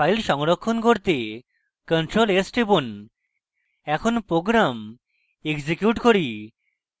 file সংরক্ষণ ctrl + s টিপুন এখন program execute করি